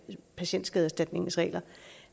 patienterstatningsordningen